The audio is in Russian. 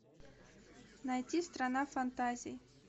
найти страна фантазий